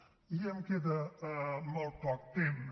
ja em queda molt poc temps